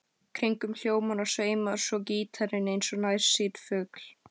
Kringum hljómana sveimar svo gítarinn eins og nærsýnn fugl.